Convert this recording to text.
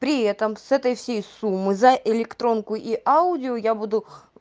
при этом с этой всей суммы за электронку и аудио я буду